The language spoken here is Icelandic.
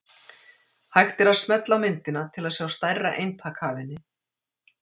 Hægt er að smella á myndina til að sjá stærra eintak af henni.